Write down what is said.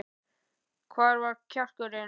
Hvar er kjarkurinn?